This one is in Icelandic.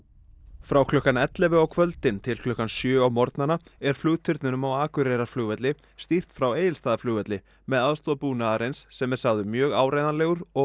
frá klukkan ellefu á kvöldin til klukkan sjö á morgnana er flugturninum á Akureyrarflugvelli stýrt frá Egilsstaðaflugvelli með aðstoð búnaðarins sem er sagður mjög áreiðanlegur og